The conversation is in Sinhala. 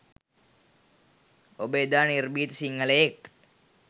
ඔබ එදා නිර්භීත සිංහලයෙක්